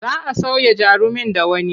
Za a sauya jarumin da wani.